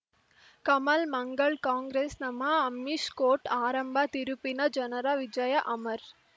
Kamal Mangal Congress ನಮಃ Amish court ಆರಂಭ ತಿರುಪಿನ ಜನರ ವಿಜಯ ಅಮರ್